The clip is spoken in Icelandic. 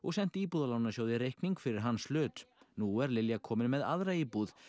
sent Íbúðalánasjóði reikning fyrir hans hlut nú er Lilja komin með aðra íbúð